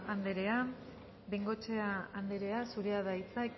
anderea bengoechea anderea zurea da hitza